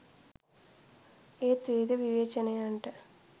ඒත් විවිධ විවේචනයන්ට